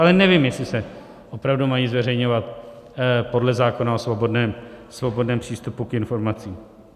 Ale nevím, jestli se opravdu mají zveřejňovat podle zákona o svobodném přístupu k informacím.